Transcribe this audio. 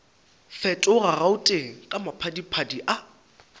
fetoga gauteng ka maphadiphadi a